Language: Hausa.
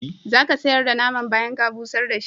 Za ka sayar da naman bayan ka busar da shi?